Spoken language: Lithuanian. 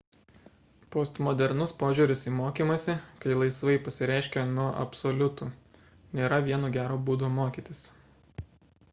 postmodernus požiūris į mokymąsi kai laisvai pasireiškia nuo absoliutų nėra vieno gero būdo mokytis